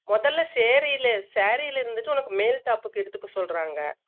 முதல்ல saeree ல saree ல இருந்துட்டு உன்னக்கு மேல் top க்கு எடுத்துக்க சொல்றாங்க